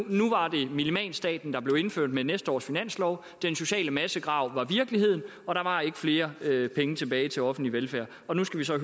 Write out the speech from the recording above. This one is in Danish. blev minimalstaten indført med næste års finanslov den sociale massegrav var virkelighed og der var ikke flere penge tilbage til offentlig velfærd nu skal vi så